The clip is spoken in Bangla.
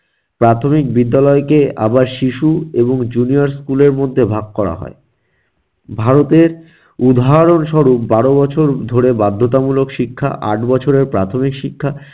প্রাথমিক বিদ্যালয় কে আবার শিশু এবং junior school এর মধ্যে ভাগ করা হয়। ভারতের উদাহরণস্বরূপ বারো বছর ধরে বাধ্যতামূলক শিক্ষা, আট বছরের প্রাথমিক শিক্ষা,